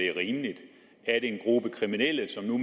er en gruppe kriminelle som for